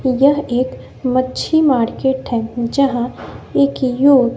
यह एक मच्छी मार्केट है यहां एक